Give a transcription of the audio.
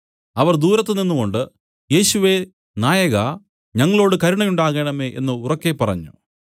അവർ ദൂരത്ത് നിന്നുകൊണ്ടു യേശുവേ നായക ഞങ്ങളോടു കരുണയുണ്ടാകേണമേ എന്നു ഉറക്കെ പറഞ്ഞു